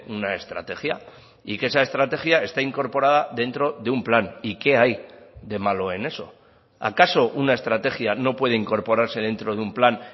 una estrategia y que esa estrategia está incorporada dentro de un plan y qué hay de malo en eso acaso una estrategia no puede incorporarse dentro de un plan